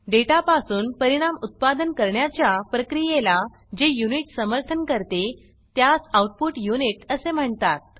data पासून परिणाम उत्पादन करण्याच्या प्रक्रियेला जे यूनिट समर्थन करते त्यास आउटपुट यूनिट असे म्हणतात